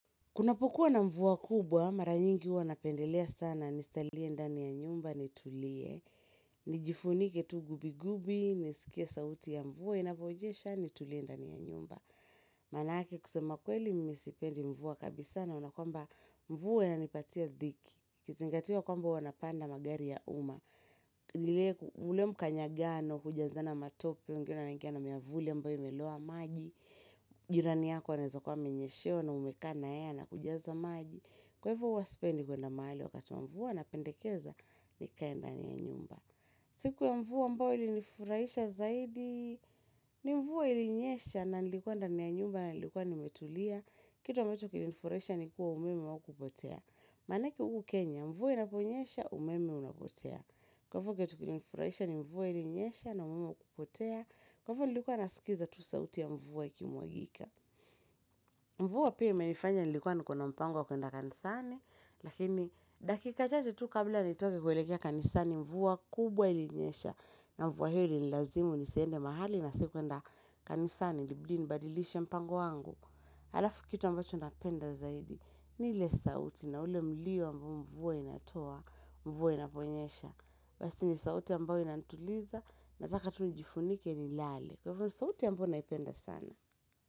Kunapokuwa na mvua kubwa, mara nyingi huwa napendelea sana nisalie ndani ya nyumba, nitulie. Nijifunike tu gubi gubi, nisikie sauti ya mvua, inavyonyesha, nitulie ndani ya nyumba. Maanake kusema kweli mimi sipendi mvua kabisa, naona kwamba mvua inanipatia dhiki. Ikizingatiwa kwamba huwa napanda magari ya uma. Nile ule mkanyangano, hujazana matope, wengine wanangia na miavuli ambayo imeloa maji Jirani yako anaeza kuwa amenyeshewa na umekaa na yeye anakujaza maji Kwa hivyo huwa sipendi kwenda mahali wakati wa mvua napendekeza nikae ndani ya nyumba siku ya mvua ambayo ilinifuraisha zaidi ni mvua ilinyesha na nilikuwa ndani ya nyumba na nilikuwa nimetulia Kitu ambacho kilinifurahisha ni kuwa umeme haukupotea Maanake huku Kenya mvua inaponyesha umeme unapotea Kwa hivyo kitu kilinifurahisha ni mvua ilinyesha na umeme haukupotea Kwa hivyo nilikuwa nasikiza tu sauti ya mvua ikimwagika Mvua pia imenifanya nilikuwa niko na mpango kwenda kanisani Lakini dakika chache tu kabla nitoke kuelekea kanisani mvua kubwa ilinyesha na mvua hiyo ilinilazimu nisiende mahali na sikuenda kanisani ilibidi nibadilishe mpango wangu Halafu kitu ambacho napenda zaidi ni ile sauti na ule mlio ambao mvua inatoa, mvua inaponyesha Basi ni sauti ambayo inanituliza nataka tu nijifunike nilale Kwa hivyo ni sauti ambayo naipenda sana.